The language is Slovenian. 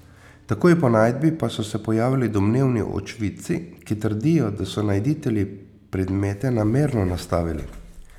Takoj po najdbi pa so se pojavili domnevni očividci, ki trdijo, da so najditelji predmete namerno nastavili.